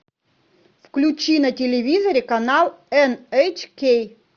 включи на телевизоре канал эн эйч кей